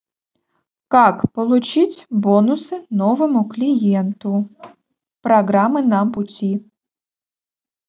как получить бонусы новому клиенту программы на пути